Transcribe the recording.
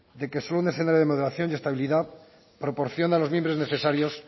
de que solo un escenario de moderación y estabilidad proporciona los mimbres necesarios